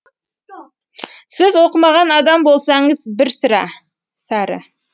сіз оқымаған адам болсаңыз бір сәрі